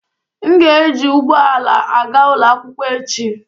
M ga-eji ụgbọ ala aga ụlọ akwụkwọ echi.